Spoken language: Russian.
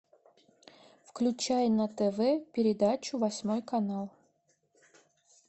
включай на тв передачу восьмой канал